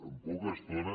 amb poca estona